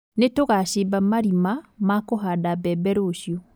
Nĩtũgacimba marima ma kũhanda mbembe rũciũ